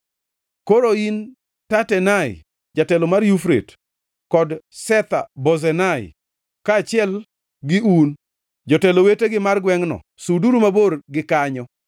Koro in, Tatenai, jatelo mar Yufrate, kod Shetha-Bozenai kaachiel gi un, jotelo wetegi mar gwengʼno, suduru mabor gi kanyo.